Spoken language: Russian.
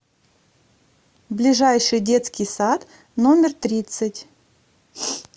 ближайший детский сад номер тридцать